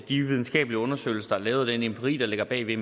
de videnskabelige undersøgelser der er lavet og den empiri der ligger bagved